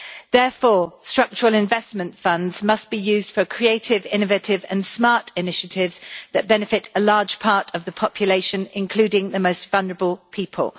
Therefore, structural investment funds must be used for creative, innovative and smart initiatives that benefit a large part of the population, including the most vulnerable people.